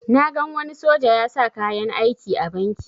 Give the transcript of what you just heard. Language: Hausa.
Na gan wani soja ya sa kayan aiki a banki